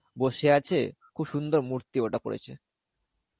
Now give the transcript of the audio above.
বসে আছে খুব সুন্দর মূর্তি ওটা করেছে.